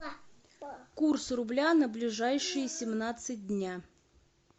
курс рубля на ближайшие семнадцать дня